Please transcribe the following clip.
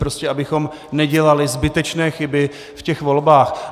Prostě abychom nedělali zbytečné chyby v těch volbách.